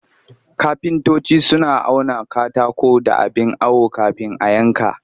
Kafintoci suna auna katako da abin awo kafin a yanka